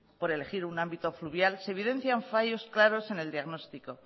por elegir un ámbito fluvial se evidencian fallos claros en el diagnóstico